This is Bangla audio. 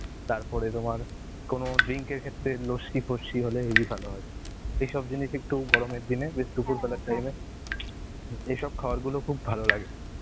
তারপরে তোমার কোনো drink এর ক্ষেত্রে লস্যি ফস্যি হলে হেবি ভালো হয়. এইসব জিনিসই একটু গরমের দিনে বেশ দুপুর বেলার time এ এসব খাবার গুলো খুব ভালো লাগে.